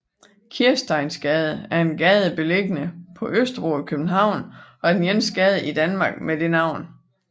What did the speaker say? Kirsteinsgade er en gade beliggende på Østerbro i København og er den eneste gade i Danmark med det navn